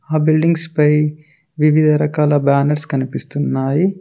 ఆ బిల్డింగ్స్ పై వివిధరకాల బ్యానర్స్ కనిపిస్తున్నాయి.